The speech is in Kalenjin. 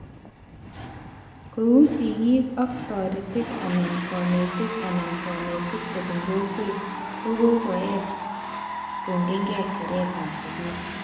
Kou sigik ak toretik anan konetik anan konetik kobun kokwet -kokokoet kongekee keretab skul